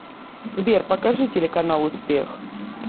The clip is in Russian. сбер покажи телеканал успех